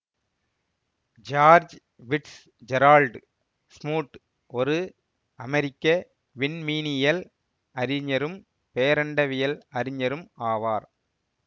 George Fitzgerald Smoot ஒரு அமெரிக்க விண்மீனியல் அறிஞரும் பேரண்டவியல் அறிஞரும் ஆவார்